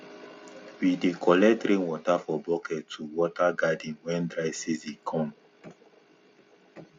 we dey collect rain water for bucket to water garden when dry season come